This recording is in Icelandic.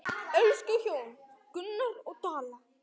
Elsku hjón, Gunnar og Dalla.